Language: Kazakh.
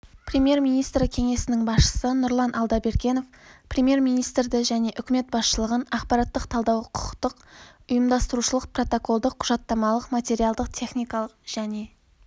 премьер-министрі кеңсесінің басшысы нұрлан алдабергенов премьер-министрді және үкімет басшылығын ақпараттық-талдау құқықтық ұйымдастырушылық протоколдық құжаттамалық материалдық-техникалық және